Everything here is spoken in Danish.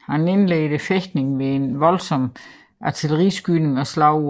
Han indledede fægtningen ved en voldsom artilleriskydning og slog